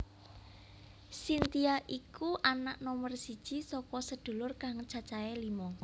Cynthia iku anak nomer siji saka sedulur kang cacahé lima